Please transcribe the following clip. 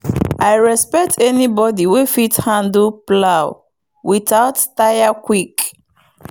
i respect anybody wey fit handle plow without tire quick.